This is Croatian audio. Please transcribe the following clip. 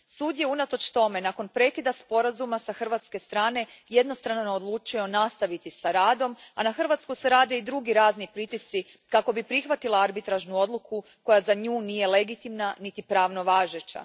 Sud je unatoč tome, nakon prekida Sporazuma s hrvatske strane jednostrano odlučio nastaviti s radom, a na Hrvatsku se rade i drugi razni pritisci kako bi prihvatila arbitražnu odluku koja za nju nije legitimna niti pravno važeća.